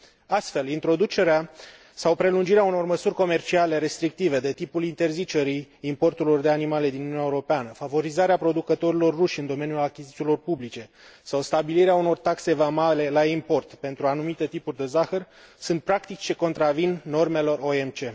Astfel, introducerea sau prelungirea unor măsuri comerciale restrictive, de tipul interzicerii importurilor de animale din Uniunea Europeană, favorizarea producătorilor ruși în domeniul achizițiilor publice sau stabilirea unor taxe vamale la import pentru anumite tipuri de zahăr sunt practici ce contravin normelor OMC.